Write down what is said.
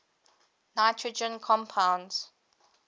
nitrogen compounds